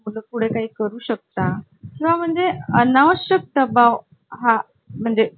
अच्छा अच्छा अच्छा, अभिनंदन